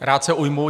Rád se ujmu.